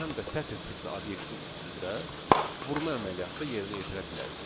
Biz həm də sətr tipli obyektin üstündə vurma əməliyyatı da yerinə yetirə bilərik.